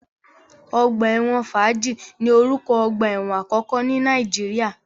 Ọgbà ẹ̀wọ̀n Fájì ni oruko ogbà ẹ̀wọ̀n àkọ́kọ́ ní Nàìjíríà